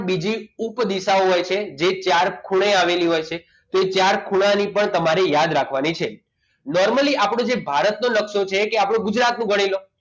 બીજી ઉપદિશાઓ હોય છે જે ચાર ખૂણે આવેલ હોય છે તો ચાર ખૂણા ની પણ તમારી યાદ રાખવાની છે normally આપણું જે ભારતનો નકશો છે કે ગુજરાતનું ગણી લો